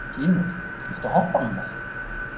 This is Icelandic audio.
Gýmir, viltu hoppa með mér?